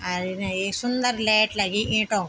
अर इने ये सुन्दर लाइट लगीं ईंटों।